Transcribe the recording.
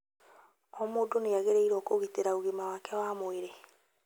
O mũndũ nĩ agĩrĩirũo kũgitĩra ũgima wake wa mwĩrĩ..